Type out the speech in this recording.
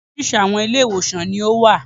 Oríṣiríṣi àwọn Ilé-ìwòsàn ní ó wà